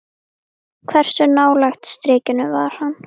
Hversu nálægt strikinu var hann?